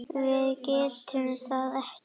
Við getum það ekki.